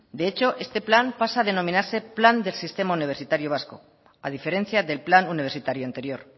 de hecho este plan pasa a denominarse plan del sistema universitario vasco a diferencia del plan universitario anterior